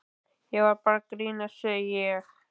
Ég var bara að grínast, segi ég.